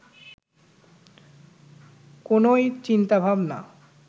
কোনও চিন্তাভাবনা